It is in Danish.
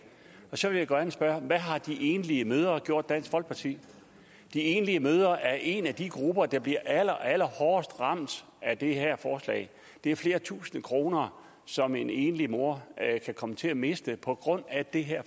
og så vil jeg gerne spørge hvad har de enlige mødre gjort dansk folkeparti de enlige mødre er en af de grupper der bliver allerallerhårdest ramt af det her forslag det er flere tusinde kroner som en enlig mor kan komme til at miste på grund af det her